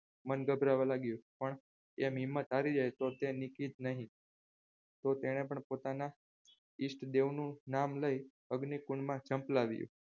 મન ગભરાવવા માંડી પણ એમ હિંમત હારી જાય તો તે નીકી નહિ તો તેને પણ પોતાના ઇષ્ટદેવનું નામ લઇ અગ્નિકુંજ માં જમ્પલાવ્યું.